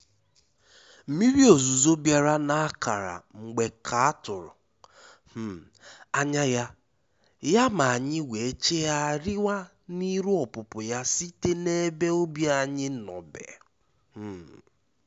Mmírí òzúzó bìàrà nà-ákárá mgbé ká àtụ́rụ́ um ányá yá, yá má ànyị́ wéé chígháà rịwá ná írú ọ́pụ̀pụ́ yá síté n’ébé ùbí ànyị́ nọ́bè. um